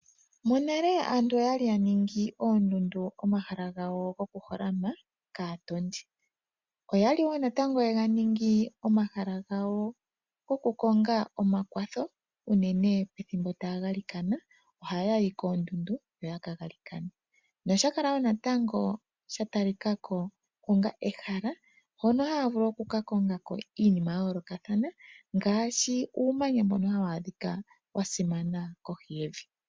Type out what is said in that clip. Monale aantu oya li ya ningi oondundu omahala gawo gokuholama kaatondi. Oya li wo natango ye ga ningi omahala gawo gokukonga omakwatho, unene pethimbo taa galikana, ohaya yi koondundu, yo ya ka galikane. Nosha kala wo natango sha talika ko onga ehala hono haa vulu oku ka konga ko iinima ya yoolokathana ngaashi uumanya mbono hawu adhika wa simana kohi yevi.